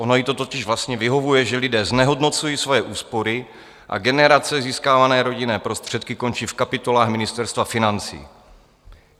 Ono jí to totiž vlastně vyhovuje, že lidé znehodnocují svoje úspory a generace získávané rodinné prostředky končí v kapitolách Ministerstva financí.